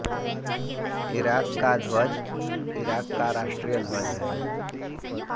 Iraq का ध्वज Iraq का राष्ट्रीय ध्वज है